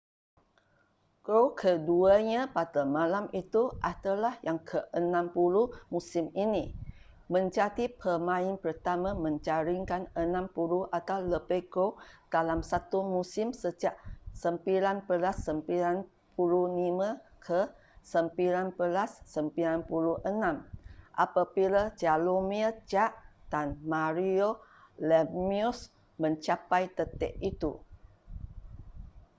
gol keduanya pada malam itu adalah yang ke-60 musim ini menjadi pemain pertama menjaringkan 60 atau lebih gol dalam satu musim sejak 1995-1996 apabila jaromir jagr dan mario lemieux mencapai detik itu